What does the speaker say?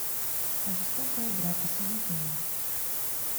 жестокая игра посоветуй мне